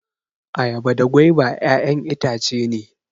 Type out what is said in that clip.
Ayaba da gwaiba ƴaƴan itace ne